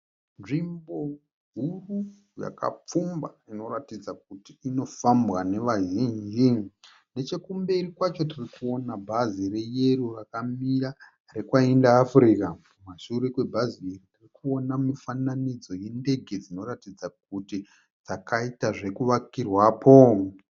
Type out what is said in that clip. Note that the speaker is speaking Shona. Nzvimbo huru yakapfumba inoratidza kuti inofambwa vazhinji. Nechekumberi kwacho kune bhazi reyero rakamira rekwaInter Africa. Kumashure kwe bhazi iri kune mufananidzo wendenge dzinoratidza kuti dzakavakirwapo.